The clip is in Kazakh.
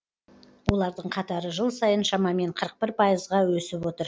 олардың қатары жыл сайын шамамен қырық бір пайызға өсіп отыр